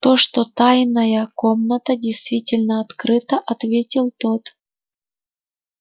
то что тайная комната действительно открыта ответил тот